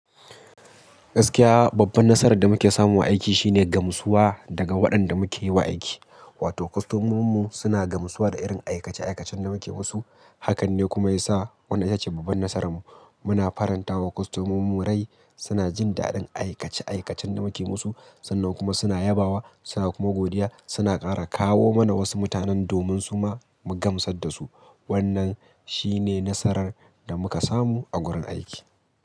Gaskiya babban nasarar da muke samu a aiki shine gamsuwa daga waɗanda muke yiwa aiki. Wato kwastomominmu suna gamsuwa da irin aikace-aikacen da muke musu. Hakan ne kuma yasa wannan ita ce babban nasararmu. Muna faranta wa kwastomomunmu rai. Suna jin daɗin aikace-aikacen da muke musu. Sannan kuma suna yabawa. Suna kuma godiya. Suna ƙara kawo mana wasu mutanen domin su ma mu gamsar da su. Wannan shi ne nasarar da muka samu a gurin aiki.